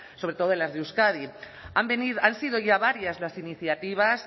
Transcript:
sobre todo en las de euskadi han sido ya varias las iniciativas